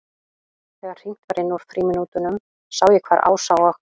Þegar hringt var inn úr frímínútunum sá ég hvar Ása og